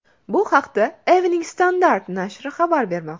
Bu haqda Evening Standard nashri xabar bermoqda .